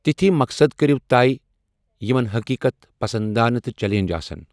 تِتھے مقصد کٔرِو طَے یِمن حٔقیٖقت پَسنٛدانہ تہٕ چلینج آسن۔